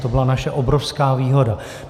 To byla naše obrovská výhoda.